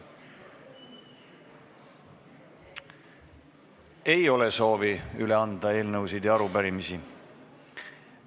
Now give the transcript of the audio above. Ei ole soovi üle anda eelnõusid ja arupärimisi.